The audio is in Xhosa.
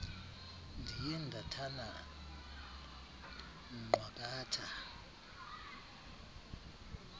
ndiye ndathana nqwakatha